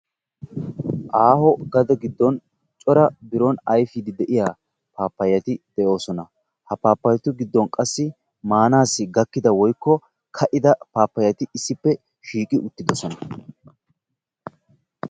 Aaho gade giddon cora biron ayfiiddi de"iya paappayeti de"oosona. Ha paappayyetu giddon qassi maanassi gakkida woykko ka"ida paappayeti issippe shiiqi uttidosona.